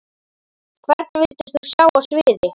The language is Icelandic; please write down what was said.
Hvern vildir þú sjá á sviði?